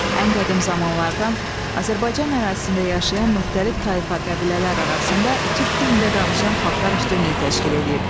Ən qədim zamanlardan Azərbaycan ərazisində yaşayan müxtəlif tayfa qəbilələr arasında türk dilində danışan xalqlar üstünlük təşkil edib.